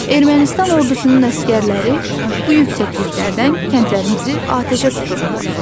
Ermənistan ordusunun əsgərləri bu yüksəkliklərdən kəndlərimizi atəşə tuturdular.